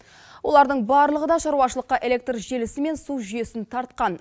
олардың барлығы да шаруашылыққа электр желісі мен су жүйесін тартқан